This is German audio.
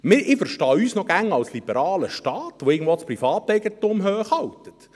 Ich verstehe uns noch immer als liberalen Staat, der irgendwo das Privateigentum hochhält.